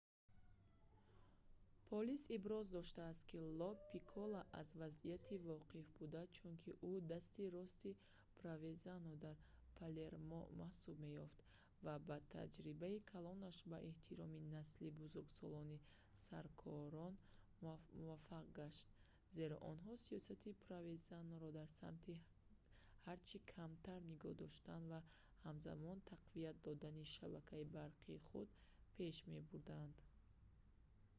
полис иброз доштааст ки ло пикколо аз вазъият воқиф буд чунки ӯ дасти рости провезано дар палермо маҳсуб меёфт ва бо таҷрибаи калонаш ба эҳтироми насли бузургсоли саркорон муваффақ гашт зеро онҳо сиёсати провезаноро дар самти ҳарчи камтар нигоҳ доштан ва ҳамзамон тақвият додани шабакаи барқи худ пеш мебурданд